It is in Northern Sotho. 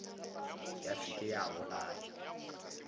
ya se ke ya bolaya